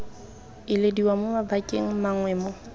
ilediwa mo mabakeng mangwe mo